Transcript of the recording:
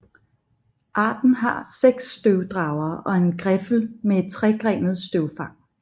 Arten har seks støvdragere og en griffel med et tregrenet støvfang